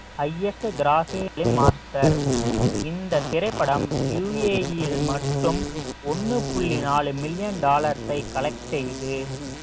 highest Master இந்த திரைப்படம் UAE யில் மட்டும் ஒண்ணு புள்ளி நாலு மில்லியன் டாலர்ஸை collect செய்து